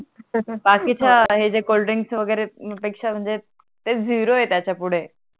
बाकीच्या हे जे कोल्ड्रिंक वगेरे पेक्षा म्हणजे ते झीरो आहे त्याच्या पुडे